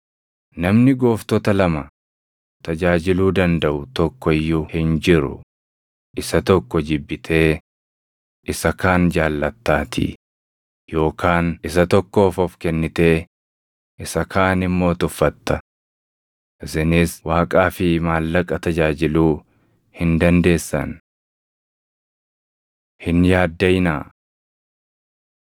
“Namni gooftota lama tajaajiluu dandaʼu tokko iyyuu hin jiru. Isa tokko jibbitee isa kaan jaallattaatii; yookaan isa tokkoof of kennitee isa kaan immoo tuffatta. Isinis Waaqaa fi Maallaqa tajaajiluu hin dandeessan. Hin Yaaddaʼinaa 6:25‑33 kwf – Luq 12:22‑31